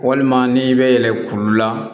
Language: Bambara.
Walima n'i bɛ yɛlɛ kuru la